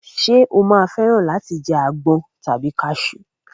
Ṣé o máa fẹ́ràn láti jẹ àgbọn tàbí kasú?